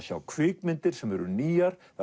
sjá kvikmyndir sem eru nýjar